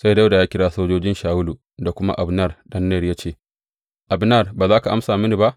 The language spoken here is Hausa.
Sai Dawuda ya kira sojojin Shawulu da kuma Abner ɗan Ner ya ce, Abner ba za ka amsa mini ba?